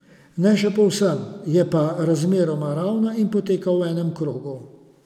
Ne še povsem, je pa razmeroma ravna in poteka v enem krogu.